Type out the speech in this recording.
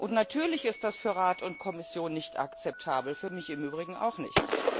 Und natürlich ist das für Rat und Kommission nicht akzeptabel für mich im Übrigen auch nicht.